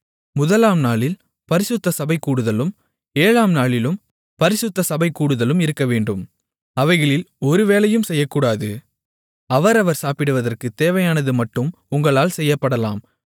முதலாம் நாளில் பரிசுத்த சபைகூடுதலும் ஏழாம் நாளிலும் பரிசுத்த சபைகூடுதலும் இருக்கவேண்டும் அவைகளில் ஒரு வேலையும் செய்யக்கூடாது அவரவர் சாப்பிடுவதற்குத் தேவையானதுமட்டும் உங்களால் செய்யப்படலாம்